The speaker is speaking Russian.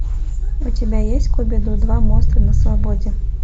у тебя есть скуби ду два монстры на свободе